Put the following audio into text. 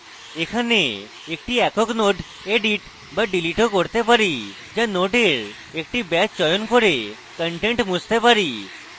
এখানে একটি একক node edit বা delete of করতে পারি বা নোডের একটি batch চয়ন করে content মুছতে পারি